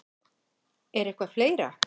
Er eitthvað fleira?